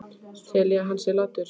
Tel ég að hann sé latur?